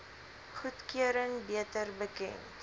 goedkeuring beter bekend